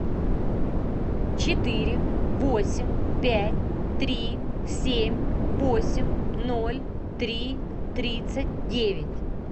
четыре восемь пять три семь восемь ноль три тридцать девять